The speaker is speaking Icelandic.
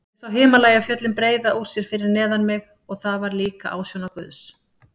Ég sá Himalajafjöllin breiða úr sér fyrir neðan mig og það var líka ásjóna Guðs.